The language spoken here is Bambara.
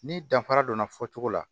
Ni danfara donna fɔcogo la